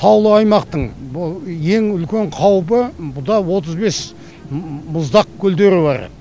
таулы аймақтың ең үлкен қаупі бұда отыз бес мұздақ көлдері бар